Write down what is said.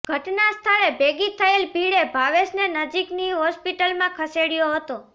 ઘટના સ્થળે ભેગી થયેલી ભીડે ભાવેશને નજીકની હોસ્પીટલમાં ખસેડયો હતો